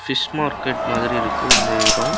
Fish market மாதிரி இருக்கு இந்த எடோ.